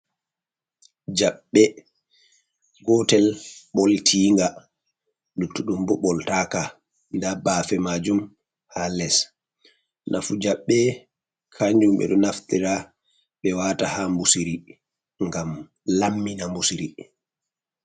Jaɓɓe gotel boltinga luttuɗdum bo boltaka nda bafe majum ha les, nafu jaɓɓe kanjum be do naftira be wata ha mbusiri gam lammina mbusri,